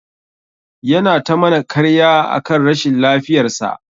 Yana ta mana karya akan rashin lafiyar sa.